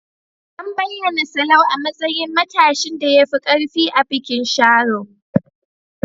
An bayyana Sallau a matsayin matashin da ya fi ƙarfi a bikin Sharo.